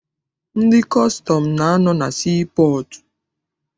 Ndị kọstọm na- anọ na sii pọọtụ.